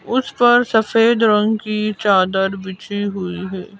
उस पर सफेद रंग की चादर बिछी हुई है।